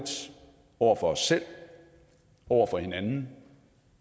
over for os selv over for hinanden